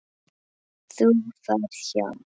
Þú ferð hjá